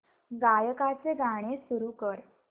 गायकाचे गाणे सुरू कर